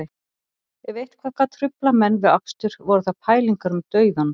Ef eitthvað gat truflað menn við akstur voru það pælingar um dauðann